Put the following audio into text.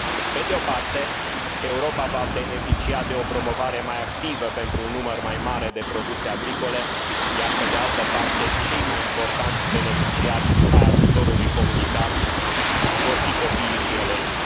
Pe de o parte, Europa va beneficia de o promovare mai activă pentru un număr mai mare de produse agricole, iar, pe de altă parte, cei mai importanți beneficiari ai ajutorului comunitar vor fi copiii și elevii.